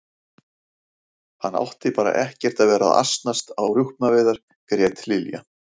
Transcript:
Hann átti bara ekkert að vera að asnast á rjúpnaveiðar grét Lilla.